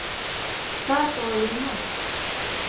Það er þó öðru nær.